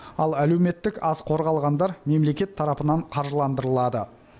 ал әлеуметтік аз қорғалғандар мемлекет тарапынан қаржыландырылады